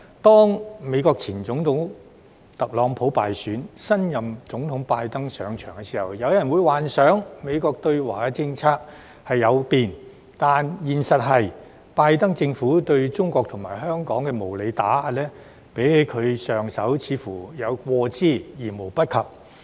在美國前總統特朗普敗選及新任總統拜登上場時，有人幻想美國的對華政策會改變，但現實是拜登政府對中國和香港的無理打壓，似乎較上任有過之而無不及。